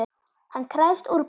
Hann krefst úrbóta.